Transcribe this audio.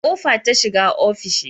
Akwai kofa ta shiga ofishi